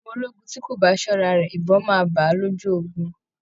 Ọmọ ológun tí kò bá ṣọ́ra rẹ̀, ìbọn máa bá a lójú ogun